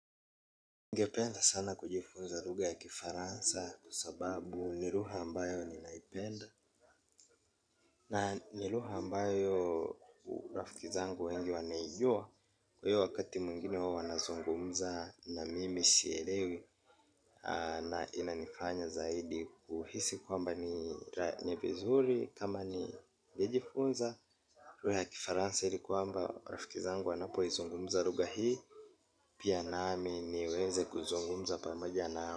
Ningependa sana kujifunza lugha ya kifaransa kwa sababu ni lugha ambayo ninaipenda. Na ni lugha ambayo rafiki zangu wengi wanaijua. Kwa hiyo wakati mwingine wao wanazungumza na mimi sielewi. Na inanifanya zaidi kuhisi kwamba ni vizuri kama ningejifunza lugha ya kifaransa ili kwamba rafiki zangu wanapoizungumza lugha hii. Pia nami niweze kuzungumza pamoja nao.